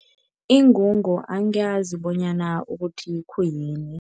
Ingungu angiyazi bonyana ukuthi khuyini.